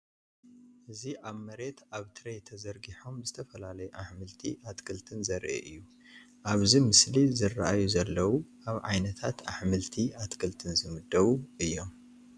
እዚ ኣብ መሬት ኣብ ትሬይ ተዘርጊሖም ዝተፈላለዩ ኣሕምልቲ ኣትክልትን ዘርኢ እዩ። ኣብዚ ምስሊ ዝረኣዩ ዘለው ካብ ዓይነታትይ ኣሕምልቲ ኣትክልትን ዝምደቡ እዮም።